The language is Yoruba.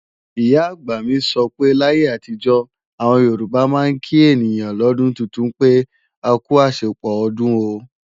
Ìyá-àgbà mi sọ pé láyé àtijó, àwọn Yorùbá máa ń kí ènìyàn lọ́dún tuntun pé, "akú àṣepọ̀ ọdún o"